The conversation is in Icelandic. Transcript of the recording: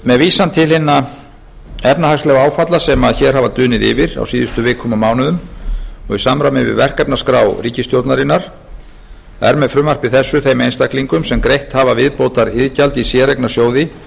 með vísan til hinna efnahagslegu áfalla sem hér hafa dunið yfir á síðustu vikum og mánuðum og í samræmi við verkefnaskrá ríkisstjórnarinnar er með frumvarpi þessu þeim einstaklingum sem greitt hafa viðbótariðgjald í séreignarsjóði